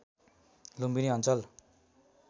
लुम्बिनी अञ्चल